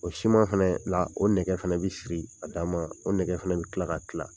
O siman fana la o nɛgɛ fana bɛ siri a dan ma o nɛgɛ fana bɛ tila ka tila